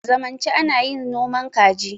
a zanmance ana yin noman kaji